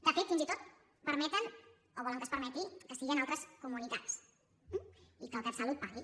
de fet fins i tot permeten o volen que es permeti que sigui en altres comunitats eh i que el catsalut pagui